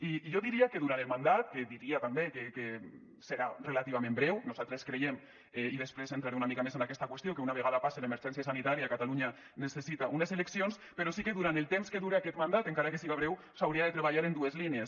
i jo diria que durant el mandat que diria també que serà relativament breu nosaltres creiem i després entraré una mica més en aquesta qüestió que una vegada passi l’emergència sanitària catalunya necessita unes eleccions però sí que durant el temps que dure aquest mandat encara que siga breu s’hauria de treballar en dues línies